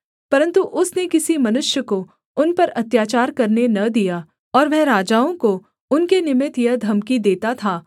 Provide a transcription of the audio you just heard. परन्तु उसने किसी मनुष्य को उन पर अत्याचार करने न दिया और वह राजाओं को उनके निमित्त यह धमकी देता था